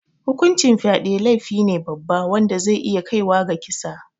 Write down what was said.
Hukuncin fyade laifine babba wanda zai iya kaiwa ga kisa